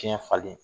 Tiɲɛ falen